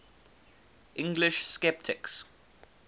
english sceptics